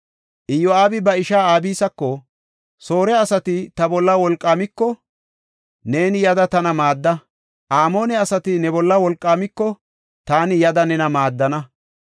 Iyo7aabi ba ishaa Abisako, “Soore asati ta bolla wolqaamiko, neeni yada tana maadda. Amoone asati ne bolla wolqaamiko, taani yada nena maaddana.